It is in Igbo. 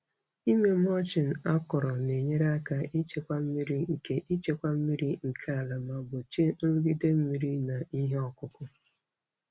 Ịme mulching akọrọ na-enyere aka ichekwa mmiri nke ichekwa mmiri nke ala ma gbochie nrụgide mmiri na ihe ọkụkụ.